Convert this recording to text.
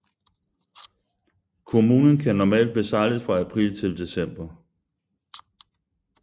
Kommunen kan normalt besejles fra april til december